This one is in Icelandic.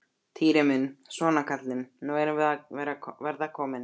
Týri minn, svona kallinn, nú erum við að verða komin.